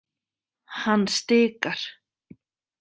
Hann stikar.